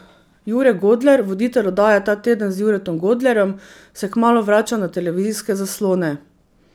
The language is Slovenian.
Jure Godler, voditelj oddaje Ta teden z Juretom Godlerjem, se kmalu vrača na televizijske zaslone.